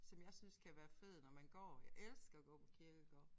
Som jeg synes kan være fed når man går. Jeg elsker at gå på kirkegårde